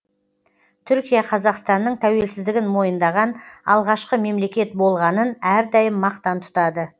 түркия қазақстанның тәуелсіздігін мойындаған алғашқы мемлекет болғанын әрдайым мақтан тұтады